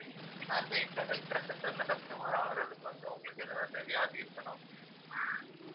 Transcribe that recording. ஆஹ் எங்க health care centre ல customer ஆகுறதுக்கு வந்து, உங்களுக்கு ஏதாவது வியாதி இருக்கணும்